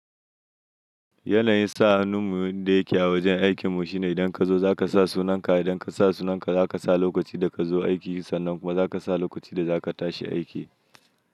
Yana yin sa hannun mu yanda yake a wajen aikin mu shine idan ka zo za ka sa sunan ka, idan ka sa sunan ka za ka sa lokacin da ka zo aiki sannan kuma za ka sa lokacin da za ka tashi aiki.